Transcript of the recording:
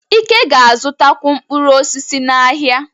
Ike ga-azụtakwu mkpụrụ osisi n’ahịa.